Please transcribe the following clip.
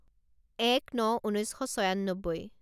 এক ন ঊনৈছ শ ছয়ান্নব্বৈ